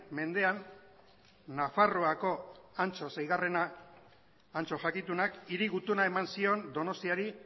mendean nafarroako antso seigarren antso jakitunak hiri gutuna eman zion donostiari